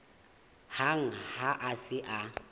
hang ha a se a